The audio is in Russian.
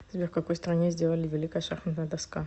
сбер в какой стране сделали великая шахматная доска